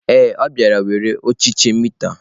Ee, ọ bịara were ọchịchị mita.